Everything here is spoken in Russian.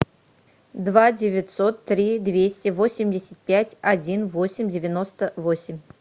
два девятьсот три двести восемьдесят пять один восемь девяносто восемь